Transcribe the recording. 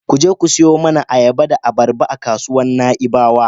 Ku je ku siyo mana ayaba da abarba a kasuwar Na'ibawa yanzu.